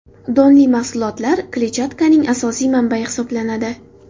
Donli mahsulotlar kletchatkaning asosiy manbayi hisoblanadi.